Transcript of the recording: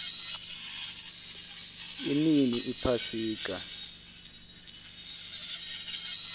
inini iphasika